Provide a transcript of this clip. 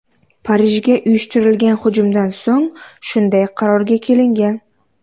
Parijga uyushtirilgan hujumdan so‘ng shunday qarorga kelingan.